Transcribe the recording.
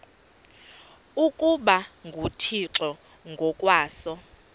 ukuba nguthixo ngokwaso